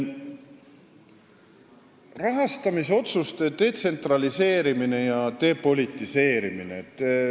Rahastamisotsuste detsentraliseerimine ja depolitiseerimine.